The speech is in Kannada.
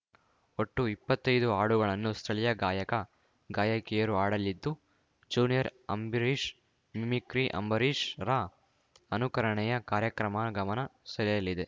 ಒಟ್ಟು ಇಪ್ಪತ್ತೈದು ಹಾಡುಗಳನ್ನು ಸ್ಥಳೀಯ ಗಾಯಕ ಗಾಯಕಿಯರು ಹಾಡಲಿದ್ದು ಜೂನಿಯರ್‌ ಅಂಬರೀಶ್‌ ಮಿಮಿಕ್ರಿ ಅಂಬರೀಶ್‌ರ ಅನುಕರಣೆಯ ಕಾರ್ಯಕ್ರಮ ಗಮನ ಸೆಳೆಯಲಿದೆ